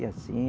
Assim.